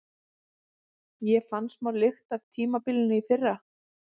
Ég fann smá lykt af tímabilinu í fyrra.